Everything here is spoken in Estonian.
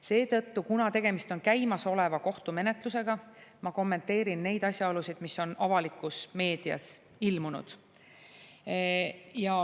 Seetõttu, kuna tegemist on käimasoleva kohtumenetlusega, ma kommenteerin neid asjaolusid, mis on avalikus meedias ilmunud.